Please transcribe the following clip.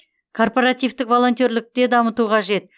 корпоративтік волонтерлікте дамыту қажет